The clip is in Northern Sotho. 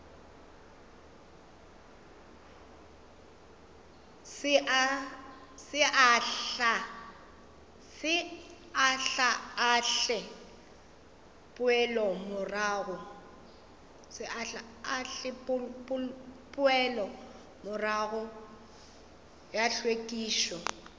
se ahlaahle poelomorago ya hlwekišo